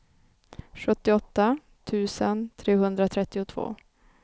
sjuttioåtta tusen trehundratrettiotvå